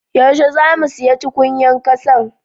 Yaushe zamu siya tukunyan kassan?